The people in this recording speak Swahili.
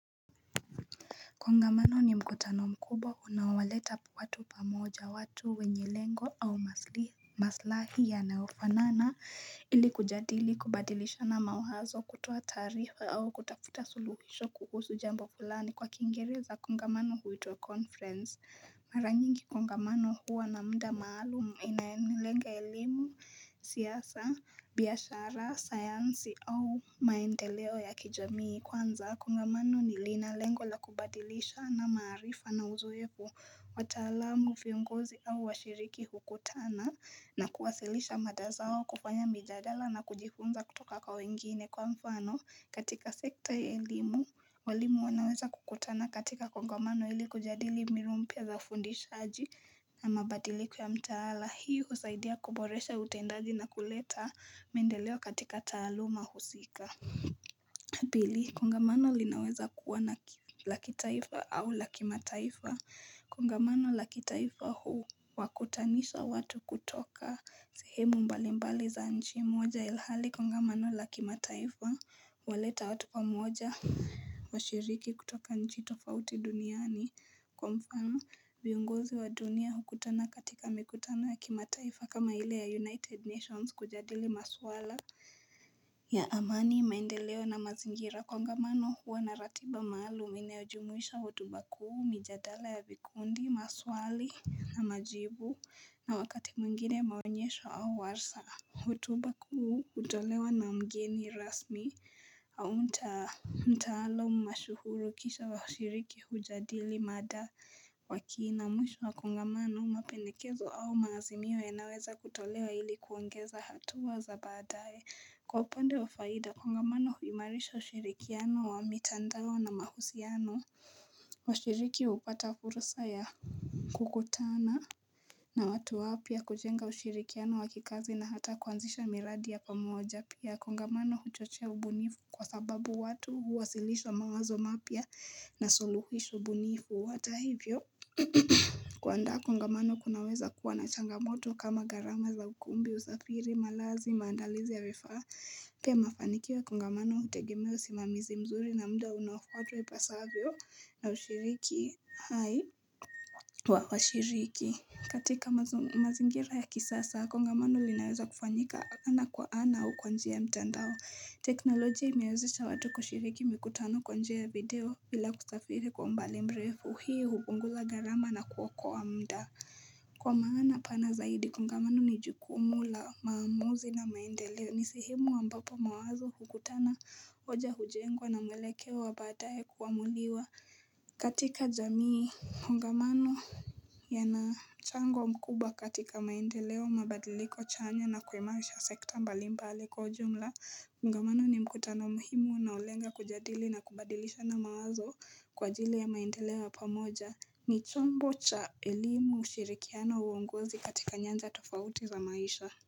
Kongamano ni mkutano mkubwa unaowaleta watu pamoja watu wenye lengo au maslahi yanayofanana ili kujadili kubadilishana mawazo kutoa taarifa au kutafuta suluhisho kuhusu jambo fulani kwa Kiingereza kongamano huitwa conference. Mara nyingi kongamano huwa na muda maalumu inayolenga elimu, siasa, biashara, sayansi au maendeleo ya kijamii kwanza kongamano lina lengo la kubadilishana maarifa na uzoefu wataalamu, vionguzi au washiriki hukutana na kuwasilisha mada zao kufanya mijadala na kujifunza kutoka kwa wengine kwa mfano katika sekta ya elimu walimu wanaweza kukutana katika kongamano ili kujadili mbinu mpya za ufundishaji na mabadiliko ya mtaala hii husaidia kuboresha utendaji na kuleta maendeleo katika taaluma husika Pili, kongamano linaweza kuwa la kitaifa au la kimataifa Kongamano la kitaifa huwakutanisha watu kutoka sehemu mbalimbali za nchi moja ilhali kongamano la kimataifa huwaleta watu pamoja washiriki kutoka nchi tofauti duniani. Kwa mfano, viongozi wa dunia hukutana katika mikutano ya kimataifa kama ile ya United Nations kujadili maswala ya amani maendeleo na mazingira kongamano huwa na ratiba maalumu inayojumuisha hotuba kuu mijadala ya vikundi maswali na majibu na wakati mwingine maonyesho au warsha. Hotuba kuu hutolewa na mgeni rasmi au mtaalamu mashuhuri kisha washiriki hujadili mada kwa kina mwisho wa kongamano mapendekezo au maazimio yanaweza kutolewa ili kuongeza hatua za baadaye kwa upande wa faida kongamano huimarisha ushirikiano wa mitandao na mahusiano washiriki hupata fursa ya kukutana na watu wapya kujenga ushirikiano wa kikazi na hata kuanzisha miradi ya pamoja pia kongamano huchochea ubunifu kwa sababu watu huwasilisha mawazo mapya na suluhisho bunifu hata hivyo kuandaa kongamano kunaweza kuwa na changamoto kama gharama za ukumbi, usafiri, malazi, maandalizi ya vifaa pia mafanikio ya kongamano hutegemea usimamizi mzuri na muda unaofuatwa ipasavyo na ushiriki hai washiriki katika mazingira ya kisasa kongamano linaweza kufanyika ana kwa ana au kwa njia ya mtandao teknolojia imewezesha watu kushiriki mikutano kwa njia ya video bila kusafiri kwa umbali mrefu hii hupunguza gharama na kuokoa muda Kwa maana pana zaidi kongamano ni jukumu la maamuzi na maendeleo ni sehemu ambapo mawazo hukutana hoja hujengwa na mwelekeo wa baadaye kuamuliwa katika jamii kongamano yana mchango mkuba katika maendeleo mabadiliko chanya na kuimarisha sekta mbalimbali kwa ujumla kongamano ni mkutano muhimu na hulenga kujadili na kubadilishana mawazo kwa ajili ya maendeleo ya pamoja ni chombo cha elimu ushirikiano uongozi katika nyanja tofauti za maisha.